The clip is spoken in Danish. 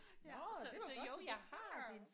Ja så så jo jeg har